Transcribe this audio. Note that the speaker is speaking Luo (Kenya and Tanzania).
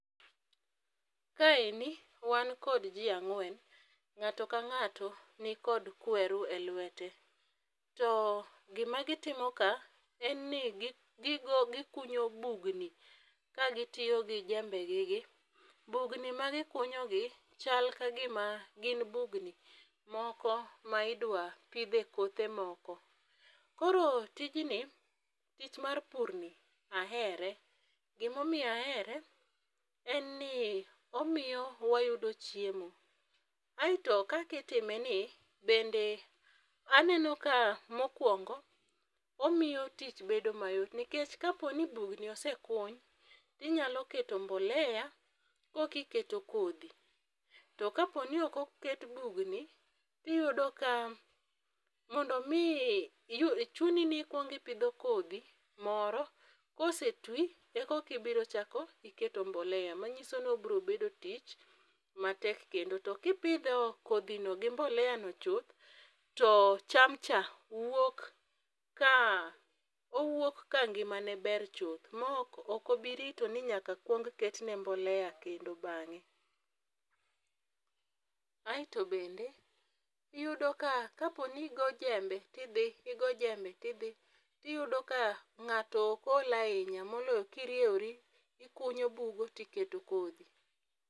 Kaeni, wan kod jii ang'wen, ng'ato ka ng'ato ni kod kweru e lwete. To, gima gitimo ka en ni gikunyo bugni ka gitiyo gi jembe gigi. Bugni ma gikunyogi, chal ka gima gin bugni moko ma idwa pidhe kothe moko. Koro tijni, tich mar purni, ahere. Gima omiyo ahere, en ni omiyo wayudo chiemo. Aito, kaka itime ni, bende aneno ka mokwongo, omiyo tich bedo mayot nikech ka poni bugni osekuny, to inyalo keto mbolea koka ikero kodhi. To kaponi ok oket bugni, to iyudo ka mondo mi iyud, chuni ni ikwong ipidho kodhi moro, kosetwo e koka ichako keto mbolea. Manyiso ni obiro bedo tich matek kendo. To kipidho kodhino gi mboleano chuth, to chamcha wuok ka, owuok ka ngimane ber chuth ma ok obi rito ni nyaka ketne mbolea kendo bang'e. Aito bende , iyudo ka kaponi igo jembe tidhi, igo jembe tidhi, iyudo ka ng'ato ok ol ahinya moloyo kiriewori, ikunyo bugo tiketo kodhi.